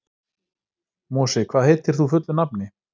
Mosi, hvað heitir þú fullu nafni?